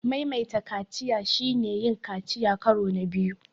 Maimaita kaciya shine yin kaciya karo na biyu.